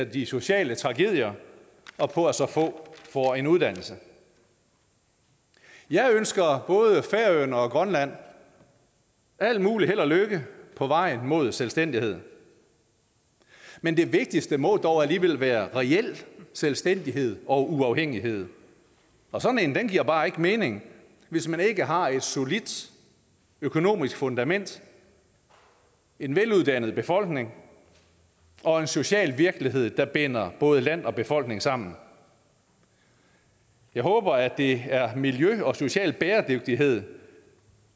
de sociale tragedier og på at så få får en uddannelse jeg ønsker både færøerne og grønland al mulig held og lykke på vejen mod selvstændighed men det vigtigste må dog alligevel været reel selvstændighed og uafhængighed og sådan en giver bare ikke mening hvis man ikke har et solidt økonomisk fundament en veluddannet befolkning og en social virkelighed der binder både land og befolkning sammen jeg håber at det er miljø og social bæredygtighed